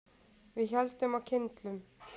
Við héldum á kyndlum.